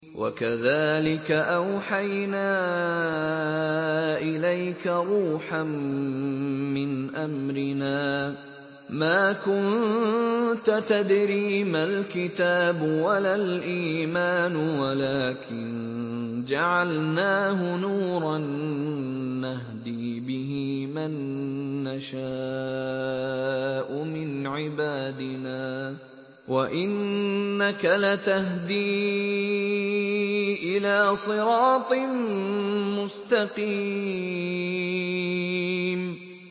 وَكَذَٰلِكَ أَوْحَيْنَا إِلَيْكَ رُوحًا مِّنْ أَمْرِنَا ۚ مَا كُنتَ تَدْرِي مَا الْكِتَابُ وَلَا الْإِيمَانُ وَلَٰكِن جَعَلْنَاهُ نُورًا نَّهْدِي بِهِ مَن نَّشَاءُ مِنْ عِبَادِنَا ۚ وَإِنَّكَ لَتَهْدِي إِلَىٰ صِرَاطٍ مُّسْتَقِيمٍ